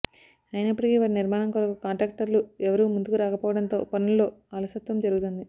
ఐనప్పటికి వాటి నిర్మాణం కొరకు కాంట్రాక్టర్లు ఎవరూ ముందుకు రకపోవడంతో పనుల్లో అలసత్వం జరుగుతుంది